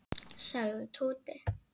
sagði Tóti.